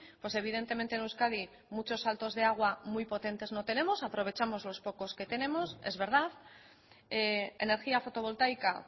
pues evidentemente en euskadi muchos saltos de agua muy potentes no tenemos aprovechamos lo pocos que tenemos es verdad energía fotovoltaica